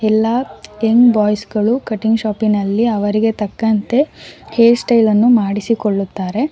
ಎಲ್ಲಾ young boys ಗಳು cutting ಶಾಪಿನಲ್ಲಿ ಅವರಿಗೆ ತಕ್ಕಂತೆ ಹೇರ್ ಸ್ಟೈಲ್ ಅನ್ನು ಮಾಡಿಸಿಕೊಳ್ಳುತ್ತಾರೆ.